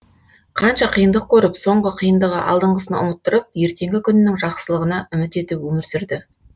қанша қиындық көріп соңғы қиындығы алдыңғысын ұмыттырып ертеңгі күнінің жақсылығына үміт етіп өмір сүрді